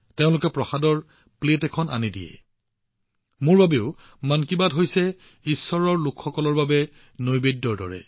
মোৰ বাবে মন কী বাত জনতাজনাৰ্দন জনতাৰ ৰূপত ঈশ্বৰৰ চৰণৰ প্ৰসাদৰ থালৰ দৰে